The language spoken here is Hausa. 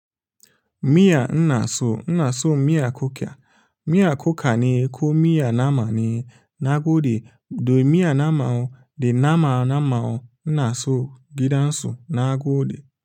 Miya inaso, inaso miya kuka. Miya kuka ne ko miya nama ne nagoɗe, do miya nama da nama nama inaso gidan su nagoɗe.